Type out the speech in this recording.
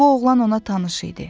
Bu oğlan ona tanış idi.